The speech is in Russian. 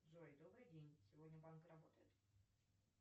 джой добрый день сегодня банк работает